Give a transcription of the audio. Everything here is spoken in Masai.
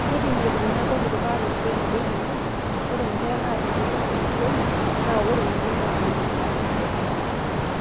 kindim iltungana botorok anotito nabo tenena:Ore inkera naata emoyian elukemia na ore oleng na enaji acute eata.